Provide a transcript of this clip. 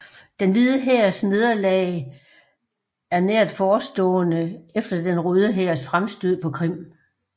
Den Hvide Hærs nederlag er nært forestående efter Den Røde Hærs fremstød på Krim